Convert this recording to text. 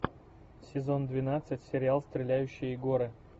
сезон двенадцать сериал стреляющие горы